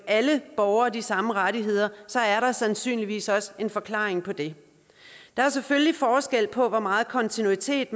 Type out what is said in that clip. alle borgere de samme rettigheder er der sandsynligvis også en forklaring på det der er selvfølgelig forskel på hvor meget kontinuitet